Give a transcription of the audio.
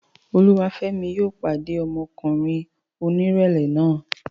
Olúwafẹ́mi yóò pàdé ọmọkùnrin onírẹ̀lẹ̀ náà